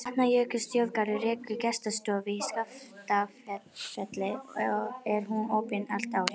Vatnajökulsþjóðgarður rekur gestastofu í Skaftafelli og er hún opin allt árið.